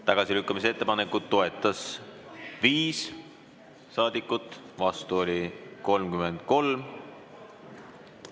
Tagasilükkamise ettepanekut toetas 5 saadikut, vastu oli 33.